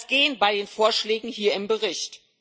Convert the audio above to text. Wie soll das gehen bei den Vorschlägen hier im Bericht?